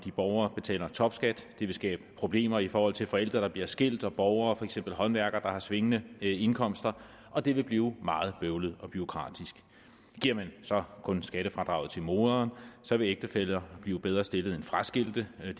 borgere betaler topskat det vil skabe problemer i forhold til forældre der bliver skilt og borgere for eksempel håndværkere der har svingende indkomster og det vil blive meget bøvlet og bureaukratisk giver man så kun skattefradraget til moderen vil ægtefæller blive bedre stillet end fraskilte og det